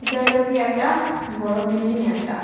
হইল গিয়ে একটা বড় বিল্ডিং একটা।